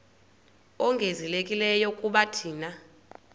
ongezelelekileyo kuba thina